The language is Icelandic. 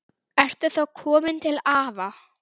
Ertu þá kominn til afa?